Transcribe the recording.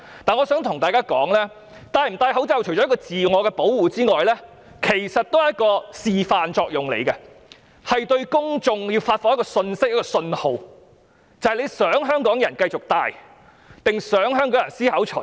但我想指出，戴口罩不單是自我保護，其實亦有示範作用，是向公眾發放一個信息或信號，就是你想香港人繼續戴口罩，還是思考除下？